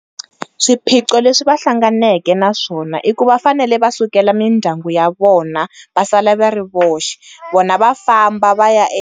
Swiphiqo leswi va hlanganaka na swona i ku va fanele va sukela mindyangu ya vona va sala va ri voxe vona va famba va ya .